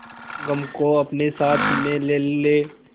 गम को अपने साथ में ले ले